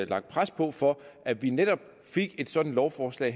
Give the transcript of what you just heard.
lagt pres på for at vi netop fik et sådant lovforslag